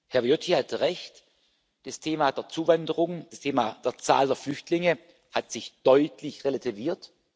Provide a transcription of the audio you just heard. Herr Viotti hatte recht Das Thema der Zuwanderung, das Thema der Zahl der Flüchtlinge hat sich deutlich relativiert.